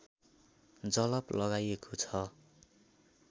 जलप लगाइएको छ